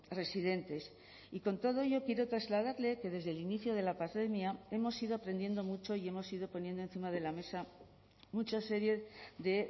residentes y con todo ello quiero trasladarle que desde el inicio de la pandemia hemos ido aprendiendo mucho y hemos ido poniendo encima de la mesa mucha serie de